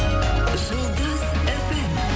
жұлдыз фм